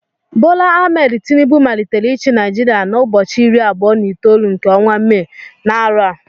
Bola Ahmed Tinubu malitere ichi Naijiria na ụbọchị irí abụọ na itolu nke ọnwa May, na arọ a.